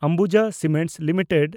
Ambuja Cements limited